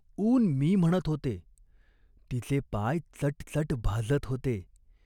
ऊन मी म्हणत होते. तिचे पाय चट चट भाजत होते.